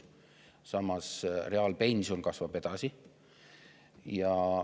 Samas reaalpension kasvab edasi.